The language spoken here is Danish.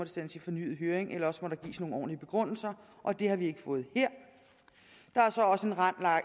sendes til fornyet høring eller også må der gives nogle ordentlige begrundelser og det har vi ikke fået her der er så også en